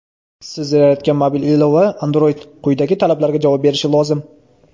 Siz yaratgan mobil ilova(Android) quyidagi talablarga javob berishi lozim:.